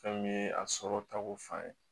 Fɛn min ye a sɔrɔ tako fan ye